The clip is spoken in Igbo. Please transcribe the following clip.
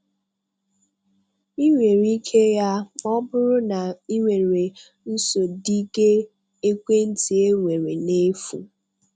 Ị nwere ike ya ma ọ bụrụ na ị were nsodige ekwentị e nwere na-efu.